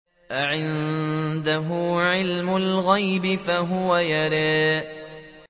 أَعِندَهُ عِلْمُ الْغَيْبِ فَهُوَ يَرَىٰ